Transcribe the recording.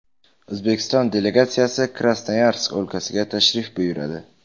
O‘zbekiston delegatsiyasi Krasnoyarsk o‘lkasiga tashrif buyuradi.